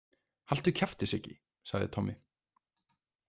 Haltu kjafti, Siggi, sagði Tommi.